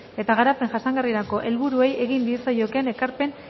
eta garapen jasangarrirako helburuei egin diezaiekeen ekarpen